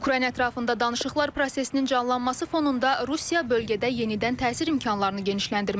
Ukrayna ətrafında danışıqlar prosesinin canlanması fonunda Rusiya bölgədə yenidən təsir imkanlarını genişləndirməyə çalışır.